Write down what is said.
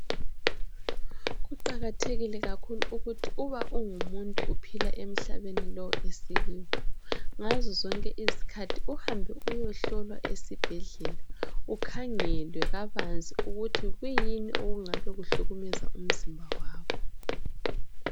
Kuqakathekile kakhulu uba ungumuntu uphila emhlabeni lo esikiwo ngazo zonke izikhathi uhambe uyehlolwa esibhedlela ukhangelwe kabanzi ukuthi kuyini okungabe kuhlukumeza umzimba wakho.